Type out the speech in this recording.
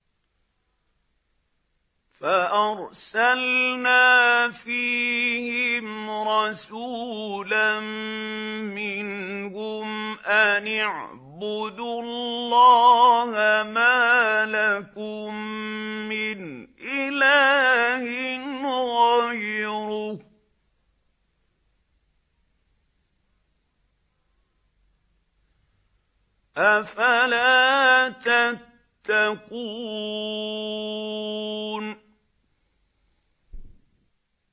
فَأَرْسَلْنَا فِيهِمْ رَسُولًا مِّنْهُمْ أَنِ اعْبُدُوا اللَّهَ مَا لَكُم مِّنْ إِلَٰهٍ غَيْرُهُ ۖ أَفَلَا تَتَّقُونَ